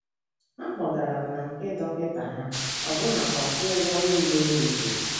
Ha kpọgara m na nke dọkịta ha, ọbụnakwa kwụọ ụgwọ nile e mefuru.